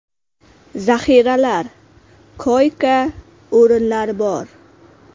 Zaxiralar, koyka-o‘rinlar bor.